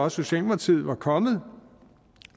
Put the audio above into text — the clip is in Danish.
at socialdemokratiet var kommet